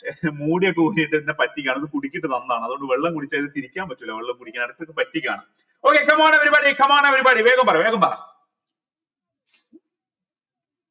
മുടിയൊക്കെ എന്നെ പറ്റിക്കാണ് ഇത് കുടിക്കുന്ന അത്കൊണ്ട് വെള്ളം കുടിച്ചാൽ ഇത് തിരിക്കാൻ പറ്റൂല വെള്ളം കുടിക്കാൻ പറ്റിക്കാണ് okay come on everybody come on everybody വേഗം പറ വേഗം പറ